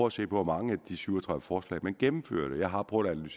at se på hvor mange af de syv og tredive forslag man gennemførte jeg har prøvet